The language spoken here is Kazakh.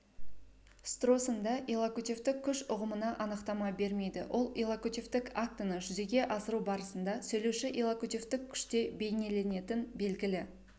стросон да иллокутивтік күш ұғымына анықтама бермейді ол иллокутивтік актіні жүзеге асыру барысында сөйлеуші иллокутивтік күште бейнеленетін белгілі